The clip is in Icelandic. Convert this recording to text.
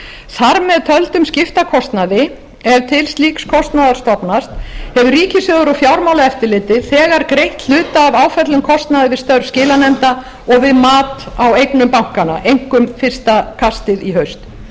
þar með töldum skiptakostnaði ef til slíks kostnaðar stofnast hefur ríkissjóður og fjármálaeftirlitið þegar greitt hluta af áföllnum kostnaði við störf skilanefnda og við mat á eignum bankanna einkum fyrsta kastið í haust